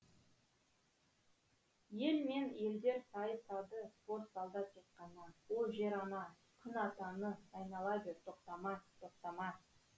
ел мен елдер сайысады спорт залда тек қана о жер ана күн атаны айнала бер тоқтама тоқтама